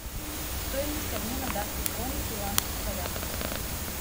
стоимость обмена датской кроны в перуанских солях